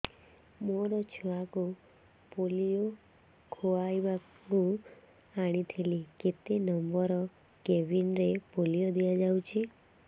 ମୋର ଛୁଆକୁ ପୋଲିଓ ଖୁଆଇବାକୁ ଆଣିଥିଲି କେତେ ନମ୍ବର କେବିନ ରେ ପୋଲିଓ ଦିଆଯାଉଛି